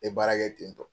N ye baara kɛ ten tɔ